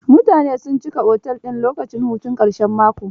Mutane sun cika otel din lokacin hutun ƙarshen mako.